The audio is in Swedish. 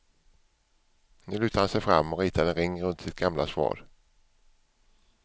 Nu lutade han sig fram och ritade en ring runt sitt gamla svar.